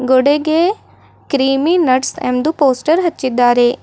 ಗೋಡೆಗೆ ಕ್ರಿಮಿ ನಟ್ಸ್ ಎಂದು ಪೋಸ್ಟರ್ ಹಚ್ಚಿದ್ದಾರೆ.